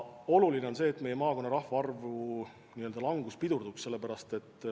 Oluline on see, et meie maakonna rahvaarvu langus pidurdub.